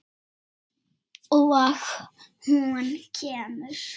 Og hún kemur.